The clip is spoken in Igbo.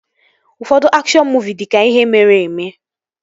Ụfọdụ akshọn muuvi dị ka ihe mere eme